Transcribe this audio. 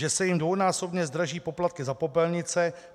Že se jim dvojnásobně zdraží poplatky za popelnice.